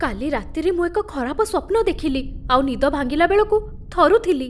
କାଲି ରାତିରେ ମୁଁ ଏକ ଖରାପ ସ୍ୱପ୍ନ ଦେଖିଲି ଆଉ ନିଦ ଭାଙ୍ଗିଲା ବେଳକୁ ଥରୁଥିଲି।